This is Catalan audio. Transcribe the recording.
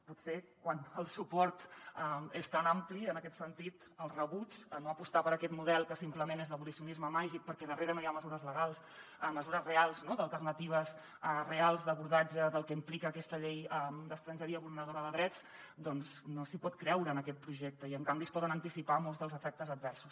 potser quan el suport és tan ampli en aquest sentit el rebuig a no apostar per aquest model que simplement és d’abolicionisme màgic perquè darrere no hi ha mesures legals mesures reals no alternatives reals d’abordatge del que implica aquesta llei d’estrangeria vulneradora de drets doncs no s’hi pot creure en aquest projecte i en canvi se’n poden anticipar molts dels efectes adversos